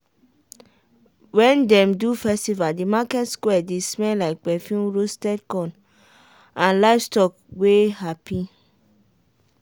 wen dem do festival the market square dey smell like perfume roasted corn and livestock wey happy.